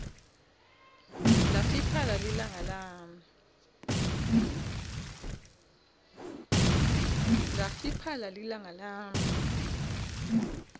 lafiphala lilanga lami